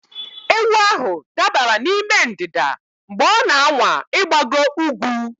Ewu ahụ dabara n'ime ndịda mgbe ọ na-anwa ịgbago ugwu